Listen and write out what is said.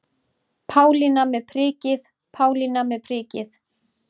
Pálína með prikið, Pálína með prikið.